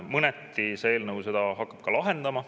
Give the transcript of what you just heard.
Mõneti hakkab see eelnõu seda ka lahendama.